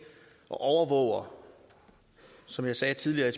og overvåger som jeg sagde tidligere i